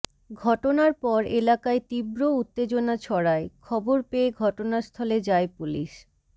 ঘটনার পর এলাকায় তীব্র উত্তেজনা ছড়ায় খবর পেয়ে ঘটনাস্থলে যায় পুলিশ